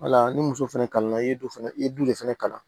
Wala ni muso fɛnɛ kalanna i ye du fana i ye du de fɛnɛ kalan